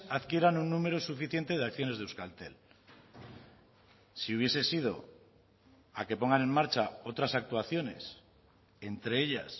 adquieran un numero suficientes de acciones de euskaltel si hubiese sido a que pongan en marcha otras actuaciones entre ellas